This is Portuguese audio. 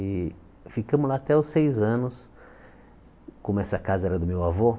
E ficamos lá até os seis anos, como essa casa era do meu avô.